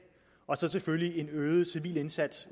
og selvfølgelig en øget civil indsats